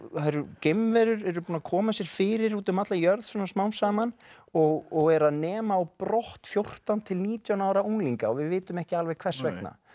geimverur eru búnar að koma sér fyrir út um alla jörð svona smám saman og og eru að nema á brott fjórtán til nítján ára unglinga og við vitum ekki alveg hvers vegna